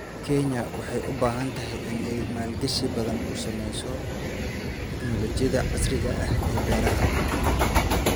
Kenya waxa ay u baahantahay in ay maalgashi badan ku samayso teknoolajiyada casriga ah ee beeraha.